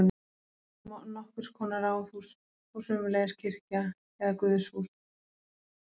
Þarna var líka nokkurs konar ráðhús og sömuleiðis kirkja eða guðshús.